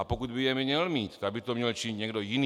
A pokud by je měl mít, tak by to měl činit někdo jiný.